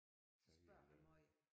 Så spørger han måj